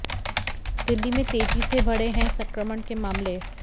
दिल्ली में तेजी से बढ़े हैं संक्रमण के मामले